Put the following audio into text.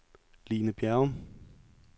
Line Bjerrum